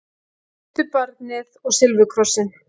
Huldubarnið og silfurkrossinn